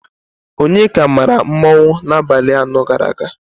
Onyeka maara mmanwụ n'abalị anọ gara aga.